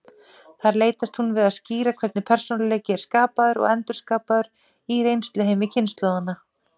Þar leitast hún við að skýra hvernig persónuleiki er skapaður og endurskapaður í reynsluheimi kynslóðanna.